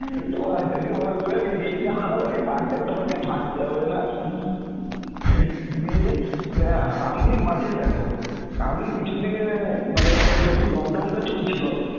বাড়ি থেকে বলবে বেরিয়ে যা আর ওই বাড়িতে তোমাকে থাকতে হবে না, দিয়ে অ্যাঁ আমি মাঝে দেখো আমি কিছুদিনের অ্যাঁ মানে যখন lockdown চলছিল